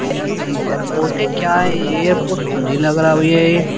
यार यह एयरपोर्ट है क्या है यह एयरपोर्ट तो नहीं लग रहा भैया ये --